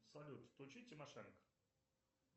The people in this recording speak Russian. салют включи тимошенко